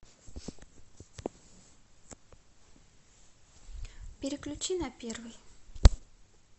переключи на первый